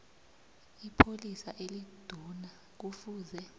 ipholisa eliduna kufuze